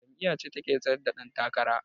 Jam'iyyace take tsaryar da dan takara.